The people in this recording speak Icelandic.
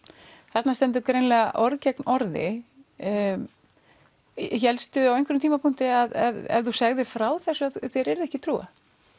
þarna stendur greinilega orð gegn orði hélstu á einhverjum tímapunkti að ef þú segðir frá þessu að þér yrði ekki trúað